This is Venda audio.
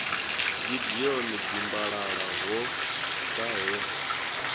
gideon dimbalala ho ḓa he